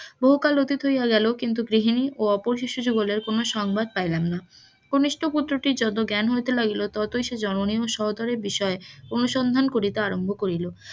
বহুকাল অতীত হইয়া গেল কিন্তু গৃহিনী ও অপর শিশুযুগলের কোন সংবাদ পাইলাম না, কনিষ্ঠ পুত্রটির যত জ্ঞ্যান হইতে লাগিল, ততই সে জননীর ও সহোদরার বিষয়ে অনুসন্ধান করিতে আরাম্ভ করিল,